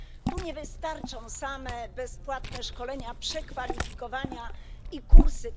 Tu nie wystarczą same bezpłatne szkolenia, przekwalifikowania i kursy.